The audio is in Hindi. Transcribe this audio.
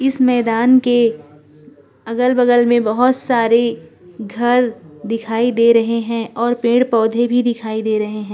इस माकन के अलग-बगल में बहोत सारे घर दिखाई दे रहें हैं और पेड़-पौधे भी दिखाई दे रहें हैं।